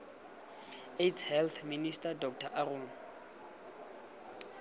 aids health minister dr aaron